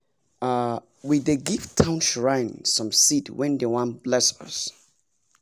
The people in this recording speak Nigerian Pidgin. um we dey give town shrine some seed wen dem wan bless us